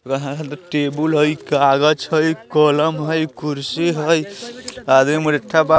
वहाँ टेबल हई कागज हई कलम हई कुर्सी हई आदमी मुरेठा बान --